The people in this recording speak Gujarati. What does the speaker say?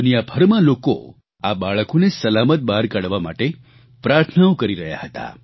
દુનિયાભરમાં લોકો આ બાળકોને સલામત બહાર કાઢવા માટે પ્રાર્થનાઓ કરી રહ્યા હતા